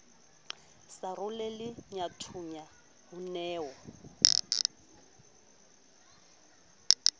sa roleleyathunya o ne o